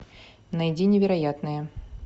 найди невероятное